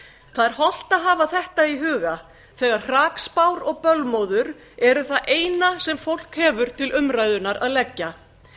það er hollt að hafa þetta í huga þegar hrakspár og bölmóður eru það eina sem fólk hefur til umræðunnar að leggja